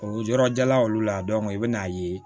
O yɔrɔ jala olu la i bɛn'a ye